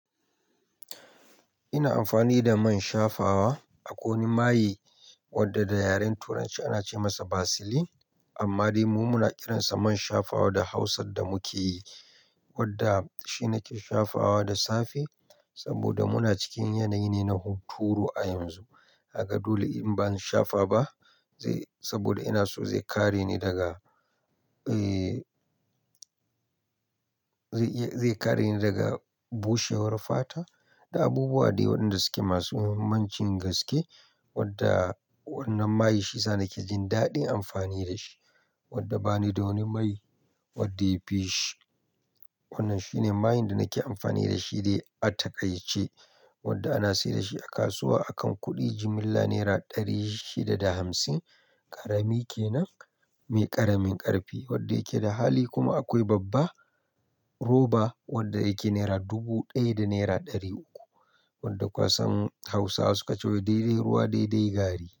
Ina amfani da man shafawa, a kwai wani mai wadda da yaren Turanci ana ce masa Vaseline, amma dai mu muna kiransa man shafawa da Hausan da muke yi, wadda shi nake shafawa da safe, saboda muna cikin yanayi ne na huturu a yanzu. Kaga dole in ban shafa ba, zai saboda ina so zai kare ni daga, zai iya, zai kare ni daga bushewar fata, da abubuwa dai wanda suke masu muhimmancin gaske, wadda wannan mai shiyasa nake jin daɗin amfani da shi, wadda bani da wani mai wadda yafi shi. Wannan shine mai da nake amfani da shi dai a taƙaice, wadda ana sayar da shi a kasuwa akan kuɗi jimilla naira ɗari shida da hamsin. Karami kenan me ƙaramin ƙarfi, wadda yake da hali kuma akwai babba koba wadda yake naira dubu ɗaya da naira ɗari uku, wadda kusan Hausawa suka ce wa "daidai ruwa, daidai gari."